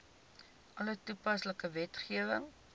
alle toepaslike wetgewing